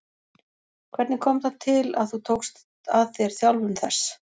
Hvernig kom það til að þú tókst að þér þjálfun þess?